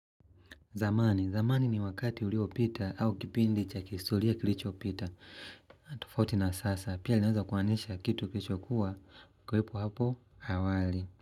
Zamani, zamani ni wakati uliopita au kipindi cha kihistoria kilichopita. Tofauti na sasa, pia linaweza kumaanisha kitu kilichokuwa, kuwepo hapo, awali.